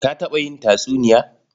Ka taɓa yin tatsuniya?